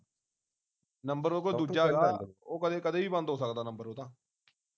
number ਉਹਦੇ ਕੋਲ ਦੂਜਾ ਹੈਗਾ ਉਹ ਕਦੇ ਕਦੇ ਵੀ ਬੰਦ ਹੋ ਸਕਦਾ ਨੰਬਰ ਉਹਦਾ